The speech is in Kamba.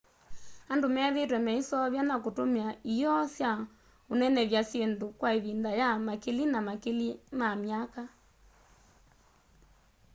andu methiitwe maiseuvya na kutumia ioo sya unenevya syindu kwa ivinda ya makili na makili ma myaka